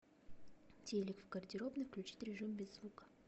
телек в гардеробной включить режим без звука